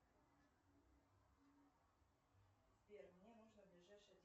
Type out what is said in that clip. сбер мне нужно ближайшее